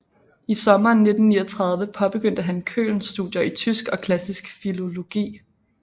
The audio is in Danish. I sommeren 1939 påbegyndte han Köln studier i tysk og klassisk filologi